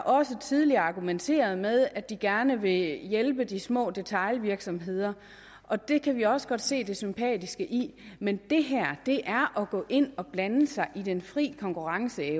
også tidligere argumenteret med at de gerne vil hjælpe de små detailvirksomheder og det kan vi også godt se det sympatiske i men det her er at gå ind og blande sig i den frie konkurrence